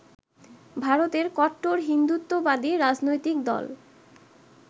ভারতের কট্টর হিন্দুত্ববাদী রাজনৈতিক দল